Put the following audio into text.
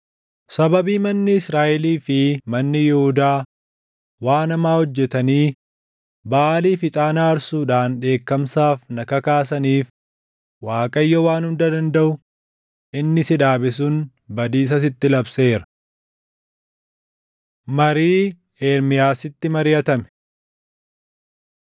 Sababii manni Israaʼelii fi manni Yihuudaa waan hamaa hojjetanii, Baʼaaliif ixaana aarsuudhaan dheekkamsaaf na kakaasaniif Waaqayyo Waan Hunda Dandaʼu inni si dhaabe sun badiisa sitti labseera. Marii Ermiyaasitti Mariʼatame